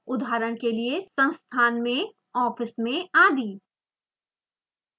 उदाहरण के लिए संस्थान में ऑफिस में आदि